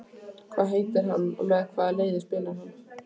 Hvað heitir hann og með hvaða liði spilar hann?